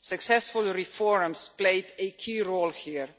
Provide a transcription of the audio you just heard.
Successful reforms played a key role here